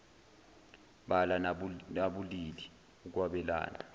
bala nabulili ukwabelana